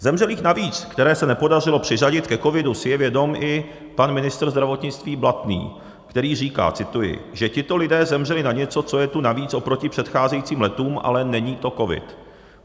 Zemřelých navíc, které se nepodařilo přiřadit ke covidu, si je vědom i pan ministr zdravotnictví Blatný, který říká, cituji, že tito lidé zemřeli na něco, co je tu navíc oproti předcházejícím letům, ale není to covid.